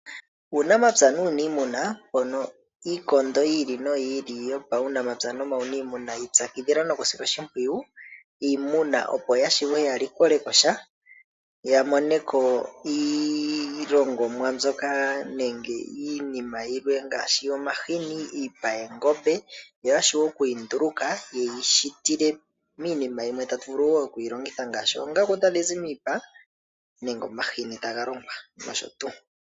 Uunamapya nuuniimuna mono iikondo yi ili noyi ili yopaunamapya nomauniimuna yi ipyakidhila nokusila oshimpwiyu iimuna opo ya shiwe ya likole ko sha ,ya mone ko iilongomwa mbyoka nenge iinima yilwe ngaashi omahini, iipa yoongombe yo ya shiwe okuyi nduluka ye yi shitile miinima yilwe tatu vulu wo okuyi longitha ngaashi oongaku tadhi zi miipa nenge omahini taga longwa, nosho tuu.